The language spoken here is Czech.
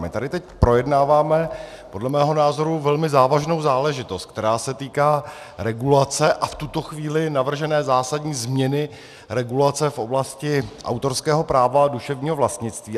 My tady teď projednáváme podle mého názoru velmi závažnou záležitost, která se týká regulace, a v tuto chvíli navržené zásadní změny regulace v oblasti autorského práva a duševního vlastnictví.